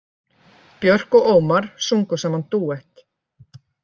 Björk og Ómar sungu saman dúett